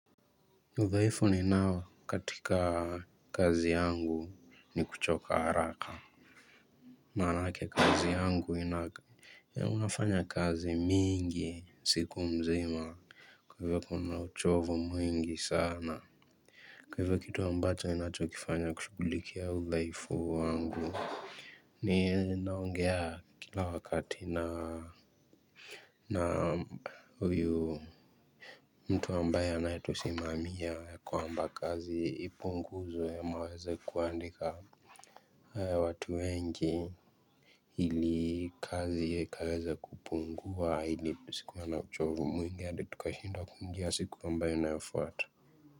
Udhaifu ninao katika kazi yangu ni kuchoka haraka. Maanake kazi yangu ina unafanya kazi mingi siku mzima kwa hivyo kuna uchovu mwingi sana. Kwa hivyo kitu ambacho ninachokifanya kushughulikia huu udhaifu wangu. Ninaongea kila wakati na na huyu mtu ambaye anayetusimamia kwamba kazi ipunguzwe ama waweze kuandika watu wengi. Ili kazi ya ikaweze kupungua ili tusikwe na uchovu mwingi hadi tukashindwa kuingia siku ambayo inayofuata.